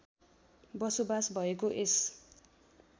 बसोबास भएको यस